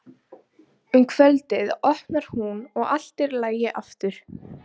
Virðist ætla að verða sæmilegur hasar.